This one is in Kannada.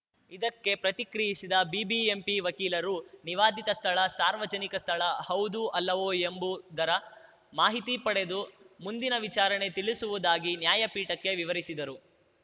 ಇದಕ್ಕೆ ಪ್ರತಿಕ್ರಿಯಿಸಿದ ಬಿಬಿಎಂಪಿ ವಕೀಲರು ನಿವಾದಿತ ಸ್ಥಳ ಸಾರ್ವಜನಿಕ ಸ್ಥಳ ಹೌದೂ ಅಲ್ಲವೊ ಎಂಬುದರ ಮಾಹಿತಿ ಪಡೆದು ಮುಂದಿನ ವಿಚಾರಣೆ ತಿಳಿಸುವುದಾಗಿ ನ್ಯಾಯಪೀಠಕ್ಕೆ ವಿವರಿಸಿದರು